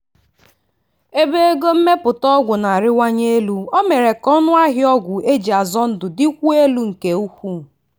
ebe ego mmepụta ọgwụ na-arịwanye elu o mere ka ọnụ ahịa ọgwụ eji azọ ndụ dịkwuo elu nke ukwuu.